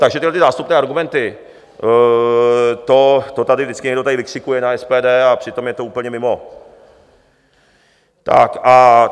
Takže tyhle zástupné argumenty, to tady vždycky někdo vykřikuje na SPD, a přitom je to úplně mimo.